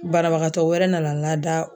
Banabagatɔ wɛrɛ nana lada.